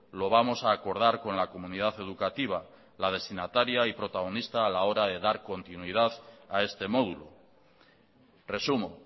lo vamos a acordar con la comunidad educativa la destinataria y protagonista a la hora de dar continuidad a este módulo resumo